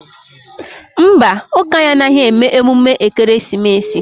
Mba, ụka anyị anaghị eme emume ekereesimesi